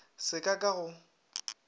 se ka ka ka go